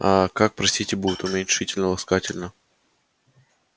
а как простите будет уменьшительно-ласкательно